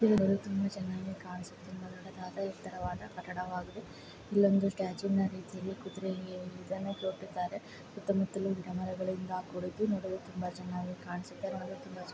ಇಲ್ಲಿ ತುಂಬಾ ಚೆನ್ನಾಗಿ ಕಾಣಿಸುತ್ತಿದೆ ತುಂಬಾ ಎತರವಾದ್ ಕಟಡವಾಗಿದೆ ಇಲ್ಲಿ ಒಂದು ಸ್ಥಚೊ ತರಹದ ರಿತಿಯಲ್ಲಿ ಕುದುರೆ ಒಂದು ನಿಲ್ಲಿಸಿದ್ದಾರೆ ಸೂತಮುತಲ್ಲೂ ಗಿಡ ಮರಗಳಿವೆ ನೂಡಲು ತುಂಬಾ ಚೆನ್ನಾಗಿ ಕಾಣಿಸುತ್ತಿದೆ